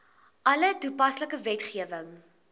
alle toepaslike wetgewing